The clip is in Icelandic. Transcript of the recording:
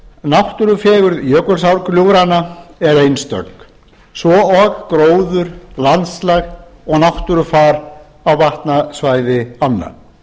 náttúrufegurð jökulsárgljúfranna er einstök svo og gróður landslag og náttúrufar á vatnasvæði ánna